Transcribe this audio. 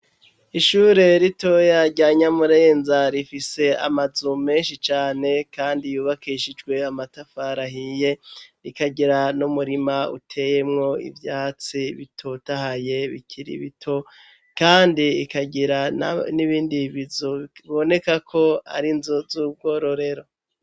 Ishure ritoya rya Nyamurenza rifise amazu menshi cane kandi yubakishijwe amatafar'ahiye rikagira n'umurima uteyemwo ivyatsi bitotahaye bikiri bito kandi ikagira n'ibindi bizu bibonekako ar'inzu z'ubwororero